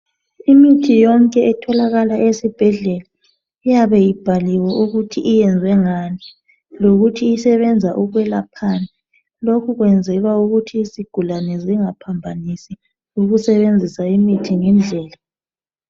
Imithi yonke etholakala esibhedlela iyabe ibhaliwe ukuthi iyenzwe ngani lokuthi isebenza ukwelaphani. Lokhu kwenzela ukuthi izigulane zingaphambanisi ukusebenzisa imithi ngendlela.